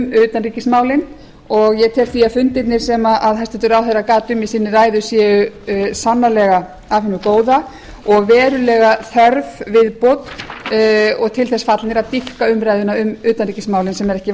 um utanríkismálin og ég tel því að fundirnir sem hæstvirtur ráðherra gat um í sinni ræðu séu sannarlega af hinu góða og verulega þörf viðbót og til þess fallnir að dýpka umræðuna um utanríkismálin sem er ekki